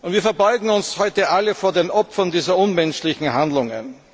Wir verbeugen uns heute alle vor den Opfern dieser unmenschlichen Handlungen.